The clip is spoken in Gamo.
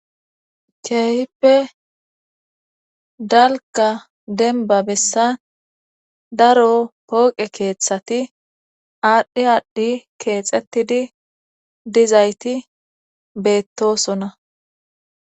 Keehippe dalka denba bessa daro pooqe keeththati aadhdhi aadhdhi keexettidi dizayti beettosona.